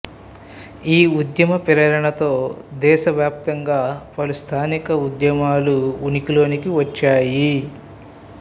ఈ ఉద్యమ ప్రేరణతో దేశ వ్యాప్తంగా పలు స్థానిక ఉద్యమాలు ఉనికిలోకి వచ్చాయి